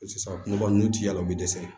Sisan kunba nn ti yala u bi dɛsɛ